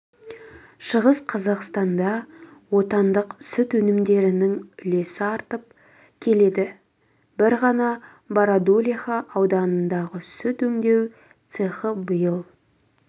шығыс қазақстанда отандық сүт өнімдерінің үлесі артып келеді бір ғана бородулиха ауданындағы сүт өңдеу цехы биыл